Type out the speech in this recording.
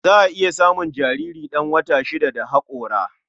Za a iya samun jariri ɗan wata shida da haƙora.